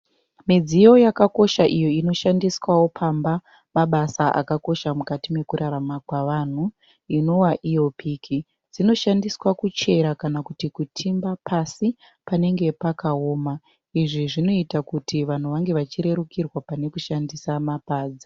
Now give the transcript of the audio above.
Midziyo yakakosha iyo inoshandiswawo pamba mabasa akakosha mukati mekurarama kwavanhu inova iyo piki. Dzinoshandiswa kuchera kana kuti kutimba pasi panenge pakaoma izvi zvinoita kuti vanhu vange vachirerukirwa pane kuchishandisa mapadza.